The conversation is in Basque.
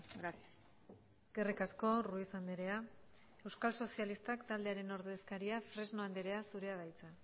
gracias eskerrik asko ruiz andrea euskal sozialistak taldearen ordezkaria fresno andrea zurea da hitza